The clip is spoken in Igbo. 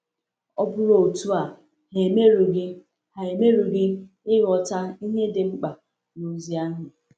Ọ bụrụ otu a, ha emerughị ha emerughị ịghọta ihe dị mkpa n’ozi ahụ.